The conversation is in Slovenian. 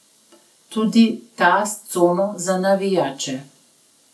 Tudi ta s cono za navijače.